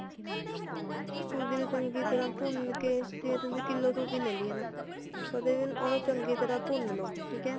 ਸੂਜ਼ੀ ਨੂੰ ਚੰਗੀ ਤਰ੍ਹਾਂ ਭੁੰਨ ਕੇ ਜੇ ਤੁਸੀਂ ਕਿੱਲੋ ਸੂਜ਼ੀ ਲੇਲੀ ਆ ਨਾ ਓਹਦੇ ਉਹਨੂੰ ਚੰਗੀ ਤਰ੍ਹਾਂ ਭੁੰਨ ਲੋ ਠੀਕ ਏ